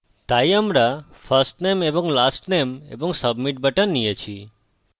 তাই আমরা firstname এবং lastname এবং submit বাটন নিয়েছি